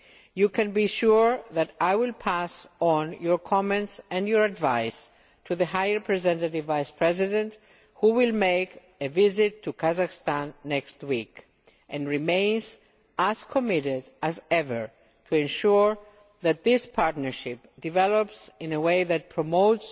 You can be sure that I will pass on your comments and your advice to the High Representative Vice President who will make a visit to Kazakhstan next week and remains as committed as ever to ensuring that this partnership develops in a way that promotes